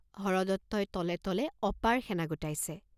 হৰদত্তই তলে তলে অপাৰ সেনা গোটাইছে।